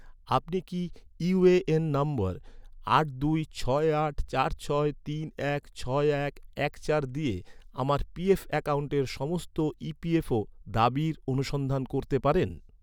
আপনি কি, ইউএএন নম্বর আট দুই ছয় আট চার ছয় তিন এক ছয় এক এক চার দিয়ে আমার পিএফ অ্যাকাউন্টের, সমস্ত ইপিএফও দাবির অনুসন্ধান করতে পারেন?